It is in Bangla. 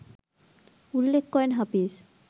উল্লেখ করেন হাফিজ